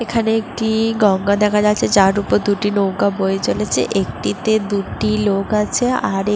এখানে একটি-ই গঙ্গা দেখা যাচ্ছে। যার উপর দুটি নৌকা বয়ে চলেছে একটিতে দুটি লোক আছে আর এক --